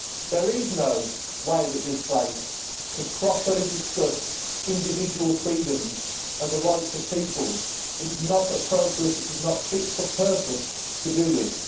There is no way that this place can properly discuss individual freedoms and the rights of peoples it is not appropriate, it is not fit for purpose to do this.